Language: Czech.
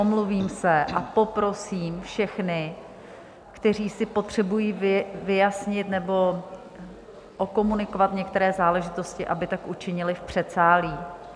Omluvím se a poprosím všechny, kteří si potřebují vyjasnit nebo okomunikovat některé záležitosti, aby tak učinili v předsálí.